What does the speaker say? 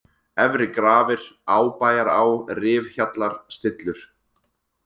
Efri-Grafir, Ábæjará, Rifhjallar, Stillur